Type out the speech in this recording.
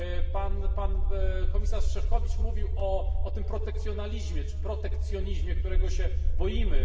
Pan komisarz Šefčovič mówił o tym protekcjonalizmie czy protekcjonizmie, którego się boimy.